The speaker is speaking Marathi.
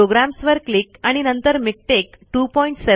प्रोग्राम्स वर क्लिक आणि नंतर मिकटेक 27